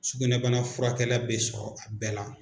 Sugunɛbana furakɛla bɛ sɔrɔ a bɛɛ la